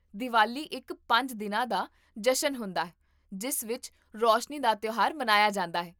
ਦੀਵਾਲੀ ਇੱਕ ਪੰਜ ਦਿਨਾਂ ਦਾ ਜਸ਼ਨ ਹੁੰਦਾ ਹੈ ਜਿਸ ਵਿੱਚ ਰੋਸ਼ਨੀ ਦਾ ਤਿਉਹਾਰ ਮਨਾਇਆ ਜਾਂਦਾ ਹੈ